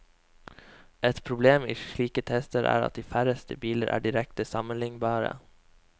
Et problem i slike tester er at de færreste biler er direkte sammenlignbare.